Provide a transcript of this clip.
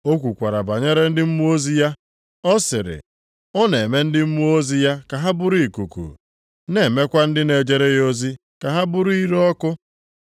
O kwukwara banyere ndị mmụọ ozi ya, ọ sịrị, “Ọ na-eme ndị mmụọ ozi ya ka ha bụrụ ikuku, na-emekwa ndị na-ejere ya ozi ka ha bụrụ ire ọkụ.” + 1:7 \+xt Abụ 104:4\+xt*